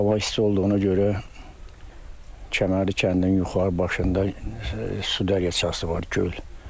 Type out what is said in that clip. Hava isti olduğuna görə Kəmərli kəndinin yuxarı başında su dərəsi var, göl.